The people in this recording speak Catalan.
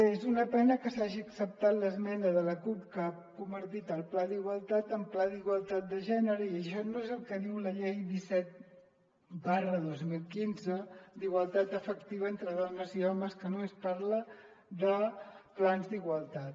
és una pena que s’hagi acceptat l’esmena de la cup que ha convertit pla d’igualtat en pla d’igualtat de gènere i això no és el que diu la llei disset dos mil quinze d’igualtat efectiva entre dones i homes que no·més parla de plans d’igualtat